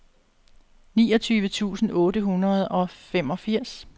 niogtyve tusind otte hundrede og femogfirs